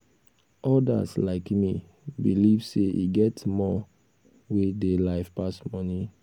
odas like me believe sey e get more wey dey life pass money.